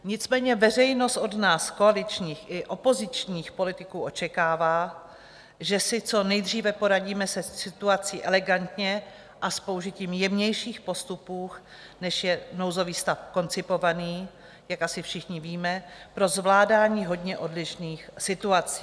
Nicméně veřejnost od nás, koaličních i opozičních politiků, očekává, že si co nejdříve poradíme se situací elegantně a s použitím jemnějších postupů, než je nouzový stav, koncipovaný - jak asi všichni víme - pro zvládání hodně odlišných situací.